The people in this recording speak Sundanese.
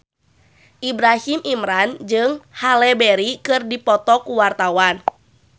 Ibrahim Imran jeung Halle Berry keur dipoto ku wartawan